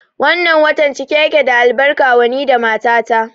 Wannan watan cike yake da albarka wa ni da mata ta